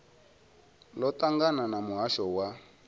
ḽo ṱangana na muhasho wa